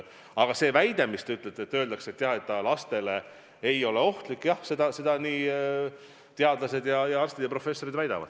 Aga see väide, mis te ütlesite, et see lastele ei ole ohtlik – jah, seda teadlased, arstid ja professorid väidavad.